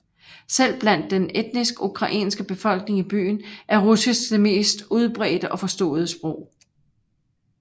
Selv blandt den etnisk ukrainske befolkning i byen er russisk det mest udbredte og forståede sprog